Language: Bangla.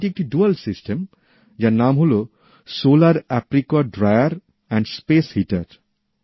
এটি একটি দ্বৈত ব্যবস্থা যার নাম হল সোলার অ্যাপ্রিকট ড্রায়ার ও হিটিং সিস্টেম